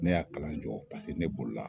Ne y'a kalan jɔ paseke ne bololi la.